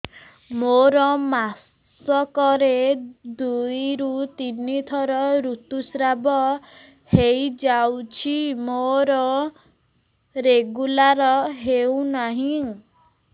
ମୋର ମାସ କ ରେ ଦୁଇ ରୁ ତିନି ଥର ଋତୁଶ୍ରାବ ହେଇଯାଉଛି ମୋର ରେଗୁଲାର ହେଉନାହିଁ